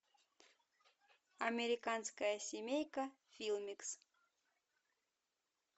американская семейка филмикс